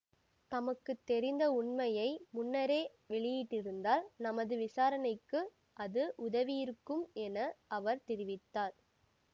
தமக்கு தெரிந்த உண்மையை முன்னரே வெளியிட்டிருந்தால் நமது விசாரணைக்கு அது உதவியிருக்கும் என அவர் தெரிவித்தார்